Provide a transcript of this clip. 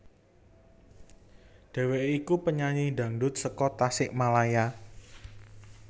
Dheweké iku penyanyi dangdut saka Tasikmalaya